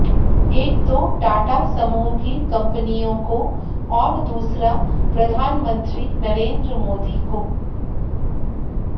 एक तो टाटा समूह की कंपनियों को और दूसरा प्रधानमंत्री नरेंद्र मोदी को